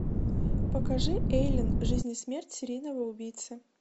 покажи эйлин жизнь и смерть серийного убийцы